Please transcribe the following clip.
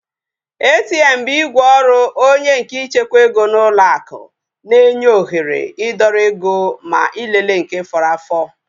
ATM bụ igwe ọrụ onwe nke ịchekwa ego n'ụlọ akụ na-enye oghere idọrọ ego ma ịlele nke fọrọ afọ